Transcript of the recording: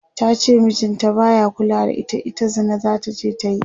tace mijin ta baya kulawa da ita, ita Zina zataje ta yi